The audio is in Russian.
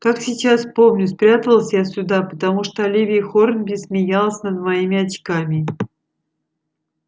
как сейчас помню спряталась я сюда потому что оливия хорнби смеялась над моими очками